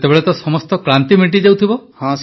ସେତେବେଳେ ସମସ୍ତ କ୍ଳାନ୍ତି ମେଣ୍ଟିଯାଉଥିବ